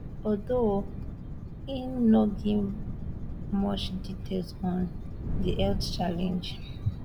although im no give much details on di health challenge